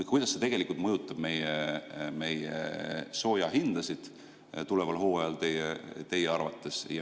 Ja kuidas see teie arvates mõjutab meie soojahindasid tuleval hooajal?